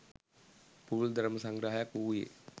පුළුල් ධර්ම සංග්‍රහයක් වූයේ